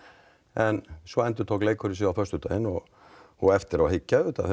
en svo endurtók leikurinn sig á föstudaginn og og eftir á að hyggja